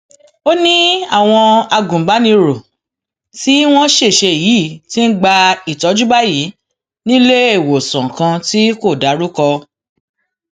ó ní àwọn agùnbánirò tí wọn ṣẹṣẹ yìí ti ń gba ìtọjú báyìí níléemọsán kan tí kò dárúkọ